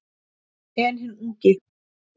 En hinn ungi